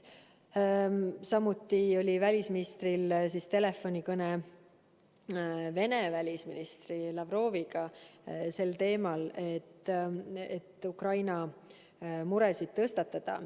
Samuti oli välisministril telefonikõne Vene välisministri Lavroviga Ukraina teemal.